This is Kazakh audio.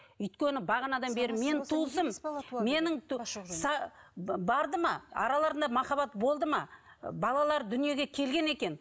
өйткені бағанадан бері менің туысым менің барды ма араларында махаббат болды ма балалар дүниеге келген екен